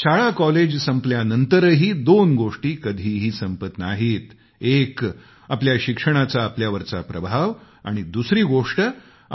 शाळाकॉलेज संपल्यानंतरही दोन गोष्टी कधीही संपत नाहीत एक आपल्या शिक्षणाचा आपल्यावरचा प्रभाव आणि दुसरी